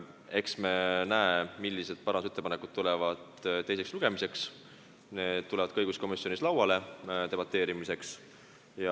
Eks me näe, millised parandusettepanekud tulevad teiseks lugemiseks, need tulevad siis ka õiguskomisjonis debateerimiseks lauale.